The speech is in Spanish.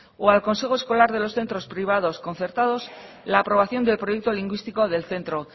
o al consejo escolar de los centros privados concertados la aprobación del proyecto lingüístico del centro